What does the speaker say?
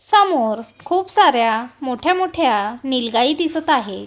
समोर खूप साऱ्या मोठ्या-मोठ्या नील गाई दिसतं आहे.